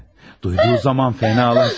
Duyduğu zaman fenalaşdı.